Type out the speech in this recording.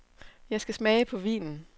Jeg skal smage på vinen.